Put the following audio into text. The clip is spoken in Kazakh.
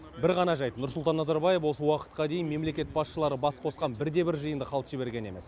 бір ғана жайт нұрсұлтан назарбаев осы уақытқа дейін мемлекет басшылары бас қосқан бірде бір жиынды қалт жіберген емес